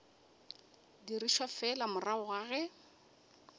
dirišwa fela morago ga ge